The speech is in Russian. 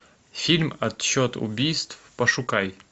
фильм отчет убийств пошукай